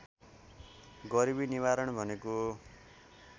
गरिबी निवारण भनेको